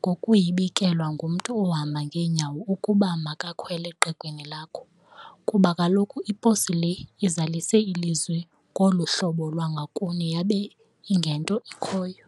ngokuyibikelwa ngumntu ohamba ngenyawo ukuba makakhwele qegwini lakho ,kuba kaloku iposi le izalise ilizwi ngoluhlobo lwangokun yabe ingento ikhoyo.